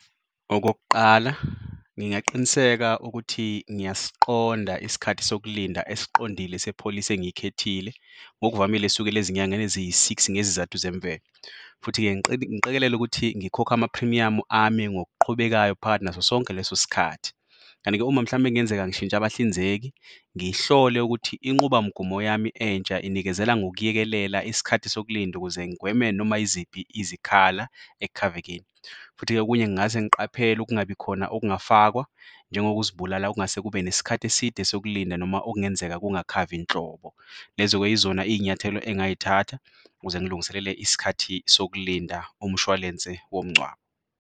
Okokuqala, ngingaqiniseka ukuthi ngiyasiqonda isikhathi sokulinda esiqondile sepholisi engiy'khethile, ngokuvamile esukela ezinyangeni eziyi-six ngezizathu zemvelo. Futhi-ke ngiqekelele ukuthi ngikhokha amaphrimiyamu ami ngokuqhubekayo phakathi naso sonke leso sikhathi. Kanti-ke uma mhlambe kungenzeka ngishintsha abahlinzeki, ngihlole ukuthi inqubamgomo yami entsha inikezela ngokuyekelela isikhathi sokulinda ukuze ngigweme noma yiziphi izikhala ekukhavekeni. Futhi-ke okunye ngingase ngiqaphele ukungabikhona okungafakwa njengokuzibulala okungase kube nesikhathi eside sokulinda noma okungenzeka kungakhavi nhlobo. Lezo-ke yizona iy'nyathelo engingay'thatha ukuze ngilungiselele isikhathi sokulinda umshwalense womngcwabo.